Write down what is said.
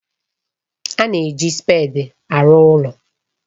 A na-eji spèdi arụ ụlọ